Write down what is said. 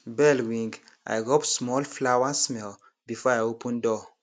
bell ring i rub small flowersmell before i open door